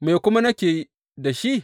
Me kuma nake da shi?